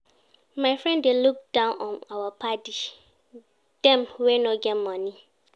My friend dey look down on our paddy dem wey no get moni.